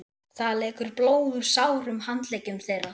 Það lekur blóð úr sárum handleggjum þeirra.